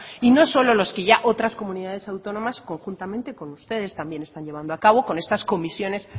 y no solo los que ya otras comunidades autónomas conjuntamente con ustedes también están llevando a cabo con estas comisiones